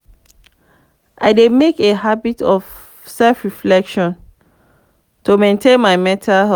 i dey make a habit of self-reflection to maintain my mental health.